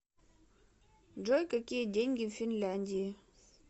джой какие деньги в финляндии